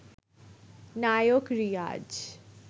Naik Riaz